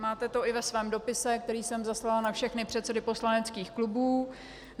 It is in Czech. Máte to i ve svém dopise, který jsem zaslala na všechny předsedy poslaneckých klubů.